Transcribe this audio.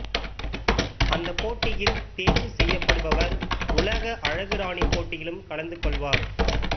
அந்தப் போட்டியில் தேர்வு செய்யப்படுபவர் உலக அழகுராணிப் போட்டியிலும் கலந்து கொள்வார்